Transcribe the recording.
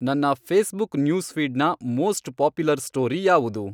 ನನ್ನ ಫೇಸ್ಬುಕ್ ನ್ಯೂಸ್ಫೀಡ್ನ most popular story ಯಾವುದು